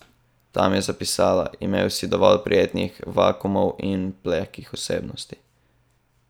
Tam je zapisala: 'Imel si dovolj prijetnih vakuumov in plehkih osebnosti.